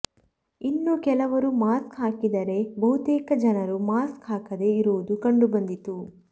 ಇನ್ನು ಕೆಲವರು ಮಾಸ್ಕ್ ಹಾಕಿದರೇ ಬಹುತೇಕ ಜನರು ಮಾಸ್ಕ್ ಹಾಕದೇ ಇರುವುದು ಕಂಡು ಬಂದಿತು